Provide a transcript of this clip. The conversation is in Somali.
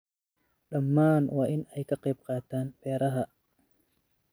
Dhammaan waa in ay ka qayb qaataan beeraha.